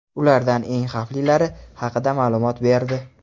ulardan eng xavflilari haqida ma’lumot berdi.